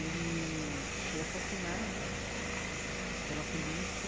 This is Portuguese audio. Ele foi assassinado pela polícia.